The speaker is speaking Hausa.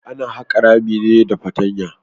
Ana haƙa rami ne da fatanya.